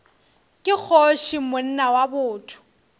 ke kgoši monna wa botho